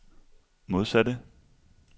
modsatte